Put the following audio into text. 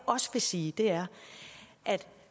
også vil sige er at